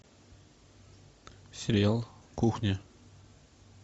сериал кухня